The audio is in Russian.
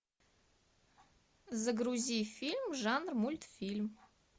загрузи фильм жанр мультфильм